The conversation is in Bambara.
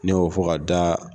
Ne y'o fɔ ka daa.